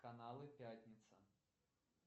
каналы пятница